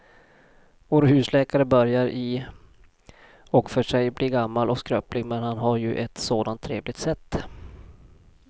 Vår husläkare börjar i och för sig bli gammal och skröplig, men han har ju ett sådant trevligt sätt!